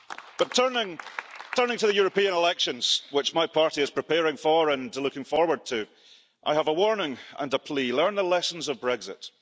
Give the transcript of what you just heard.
But turning to the European elections, which my party is preparing for and looking forward to, I have a warning and a plea learn the lessons of Brexit.